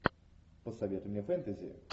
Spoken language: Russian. посоветуй мне фэнтези